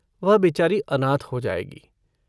वह बेचारी अनाथ हो जाएगी।